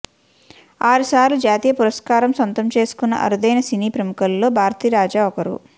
ఆరుసార్లు జాతీయ పురస్కారం సొంతం చేసుకున్న అరుదైన సినీ ప్రముఖులలో భారతీరాజా ఒకరు